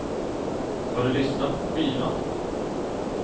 Har du lyssnat på skivan?